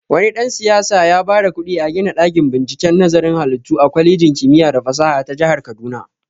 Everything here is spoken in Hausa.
Wani dan-siyasa yaba da kuɗi a gina ɗakin binciken nazarin halittu a kwalejin kimiya da fasaha ta jahar kaduna.